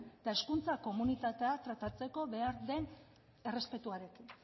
eta hezkuntza komunitatea tratatzeko behar den errespetuarekin